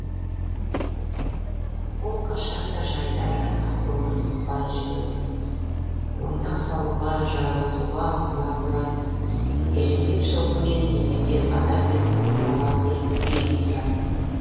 ол қашанда жайдары ақкөңіл сыпайы жүретін ойнақ салуға жаласуға құмар болатын ересек жылқымен немесе адаммен ойнауға бейім тұратын